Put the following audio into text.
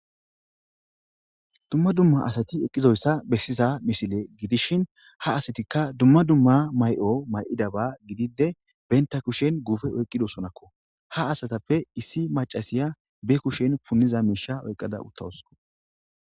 dumma dumma asati eqqizoyssa bessiza misile gidishin ha asatikka dumma dumma may7o may7idaba gidide benta kushen guufe oyqqidosonakko ha asatappe issi macasiya be kushen punniza miisha oyqqada uttawosko